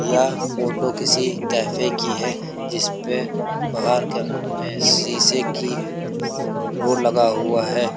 यह फोटो किसी कैफ़े की है जिसपे बाहर क्या नाम है शीशे की डोर लगा हुआ है।